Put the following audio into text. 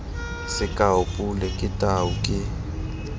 sekao pule ke tau ke